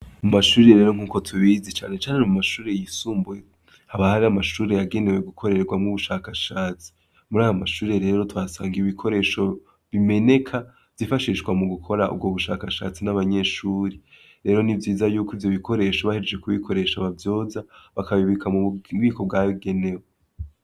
Mu mashure rero nkuko tubizi cane cane mu mashure y'isumbuye, haba hari amashure yagenewe gukorerwamwo ubushakashatsi, muri ayo mashuri rero tuhasanga ibikoresho bimeneka vyifashishwa mu gukora ubwo bushakashatsi n'abanyeshuri, rero ni vyiza yuko ivyo bikoresho bahejeje kubikoresha bavyoza bakabibika mububiko bwabigenewe.